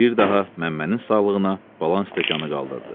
Bir daha Məmmənin sağlığına balan stəkanı qaldırdı.